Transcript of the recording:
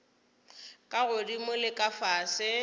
ka godimo le ka fase